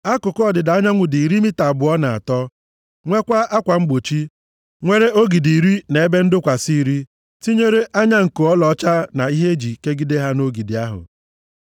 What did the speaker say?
Akụkụ ọdịda anyanwụ dị iri mita abụọ na atọ. Nwekwaa akwa mgbochi, nwere ogidi iri na ebe ndọkwasị iri, tinyere anya nko ọlaọcha na ihe e ji ekegide ha nʼogidi ahụ.